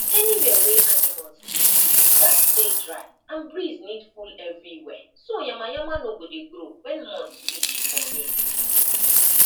anywhere wey animals dey stay gats dey dry and breeze need full everywhere so yaama yama no go dey grow when month reach for rain